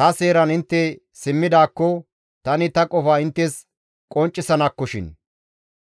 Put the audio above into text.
Ta seeran intte simmidaakko, tani ta qofa inttes qonccisanakkoshin;